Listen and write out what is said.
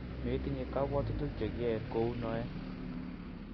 metinye kabwotutik che kiyoen kou noe